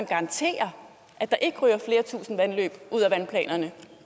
garantere at der ikke ryger flere tusinde vandløb ud af vandplanerne